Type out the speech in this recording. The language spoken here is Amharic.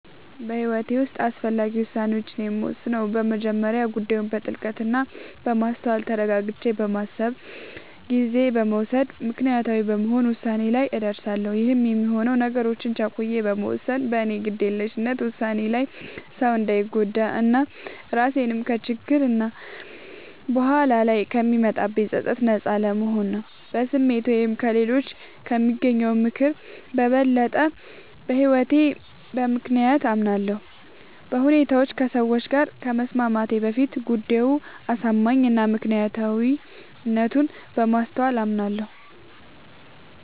በህይወቴ ዉስጥ አስፈላጊ ዉሳኔዎችን የምወስነው በመጀመሪያ ጉዳዩን በጥልቀት እና በማስተዋል ተረጋግቼ በማሰብ ጊዜ በመዉሰድ ምክንያታዊ በመሆን ዉሳኔ ላይ እደርሳለሁ ይህም የሚሆነው ነገሮችን ቸኩዬ በመወሰን በኔ ግዴለሽነት ዉሳኔ ሌላ ሰዉ እንዳንጎዳ እና ራሴንም ከችግሮች እና በኋላ ላይ ከሚመጣብኝ ፀፀት ነጻ ለመሆን ነዉ። በስሜት ወይም ከሌሎች ከሚያገኘው ምክር በበለጠ በህይወቴ በምክንያታዊነት አምናለሁ፤ በሁኔታዎች ከሰዎች ጋር ከመስማማቴ በፊት ጉዳዩ አሳማኝ እና ምክንያታዊነቱን በማስተዋል አምናለሁ።